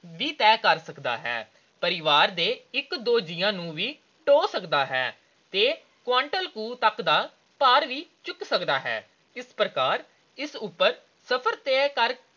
ਵੀ ਤੈਅ ਸਕਦਾ ਹੈ। ਪਰਿਵਾਰ ਦੇ ਇੱਕ ਦੋ ਜੀਆਂ ਨੂੰ ਵੀ ਢੋਅ ਸਕਦਾ ਹੈ। ਇਹ quintal ਕੁ ਤੱਕ ਦਾ ਭਾਰ ਵੀ ਚੁੱਕ ਸਕਦਾ ਹੈ। ਇਸ ਪ੍ਰਕਾਰ ਇਸ ਉਪਰ ਸਫਰ ਤੈਅ ਕਰਕੇ